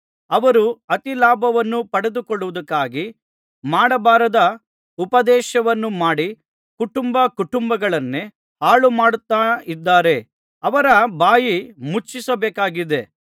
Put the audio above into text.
ಅವರು ಅತಿಲಾಭವನ್ನು ಪಡೆದುಕೊಳ್ಳುವುದಕ್ಕಾಗಿ ಮಾಡಬಾರದ ಉಪದೇಶವನ್ನು ಮಾಡಿ ಕುಟುಂಬ ಕುಟುಂಬಗಳನ್ನೇ ಹಾಳುಮಾಡುತ್ತಾರಾದ್ದರಿಂದ ಅವರ ಬಾಯಿ ಮುಚ್ಚಿಸಬೇಕಾಗಿದೆ